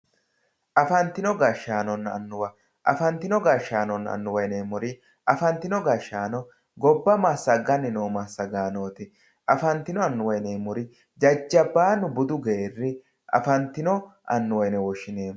Afantino gashshaanonna annuwa yineemmori ,afantino gashshaano gobba massagani noo massagaanoti ,afantino annuwa yineemmori jajjabbanu budu geerri afantino annuwa yine woshshineemmo.